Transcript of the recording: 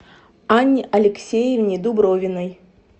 анне алексеевне дубровиной